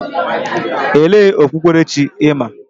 Elee okpukperechi ị ma?